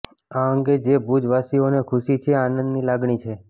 આ અંગે જે ભુજ વાસીઓને ખુશી છે આનંદની લાગણી છે